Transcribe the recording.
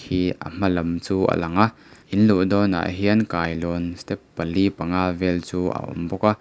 ihh a hma lam chu a lo lang a in luh dawnah hian kailawn step pali panga vel chu a awm bawk a.